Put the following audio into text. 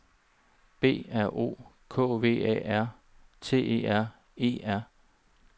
B R O K V A R T E R E R